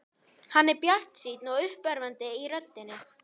Hann er bjartsýnn og uppörvandi í röddinni.